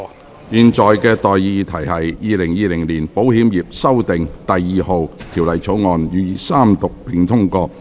我現在向各位提出的待議議題是：《2020年保險業條例草案》予以三讀並通過。